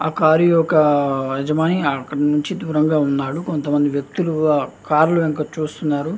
ఆ కారు ఒక యజమాని కొంచం దూరంలో నిలిచి ఉన్నాడు కొంత వ్యక్తిలు ఆ కార్లో చూస్తున్నారు --